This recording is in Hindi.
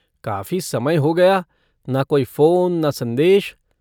काफ़ी समय हो गया, ना कोई फ़ोन ना संदेश।